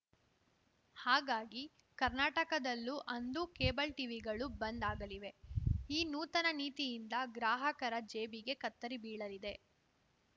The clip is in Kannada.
ಹಾಗಾಗಿ ಕರ್ನಾಟಕದಲ್ಲೂ ಅಂದು ಕೇಬಲ್‌ ಟೀವಿಗಳು ಬಂದ್‌ ಆಗಲಿವೆ ಈ ನೂತನ ನೀತಿಯಿಂದ ಗ್ರಾಹಕರ ಜೇಬಿಗೆ ಕತ್ತರಿ ಬೀಳಲಿದೆ